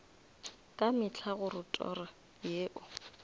ka mehla gore toro yeo